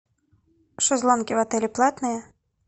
шезлонги в отеле платные